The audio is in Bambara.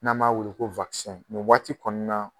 N'an b'a weele ko nin waati kɔni na